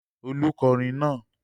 Olú kọrin náà!